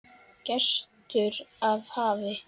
Gestur af hafi